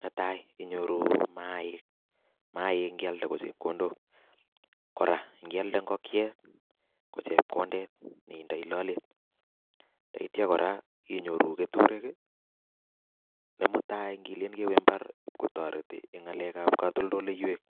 Netai inyoru mayaik mayaik kialde ko chepkondok, Kora ngialde ngokiet ko chepkondet ne indei lolet yeityo kora inyoru keturek ne mutai kilen kewe imbar ipkotoreti eng ngalekab katoltoleiywek.